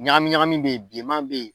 Ɲagami ɲagami bɛ yen bilenman bɛ yen.